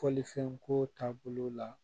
Fɔlifɛn ko taabolo la